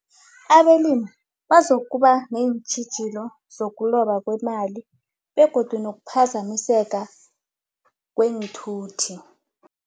Abelimi bazokuba neentjhijilo zokobana kwemali begodu nokuphazamiseka kweenthuthi.